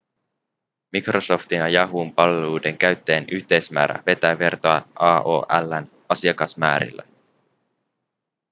microsoftin ja yahoon palveluiden käyttäjien yhteismäärä vetää vertoja aol:n asiakasmäärille